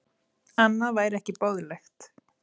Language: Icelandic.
Annað væri ekki boðlegt